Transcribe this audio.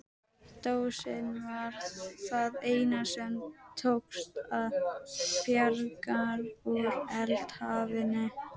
Dósin var það eina sem tókst að bjarga úr eldhafinu.